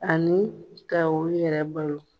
Ani ka u yɛrɛ balo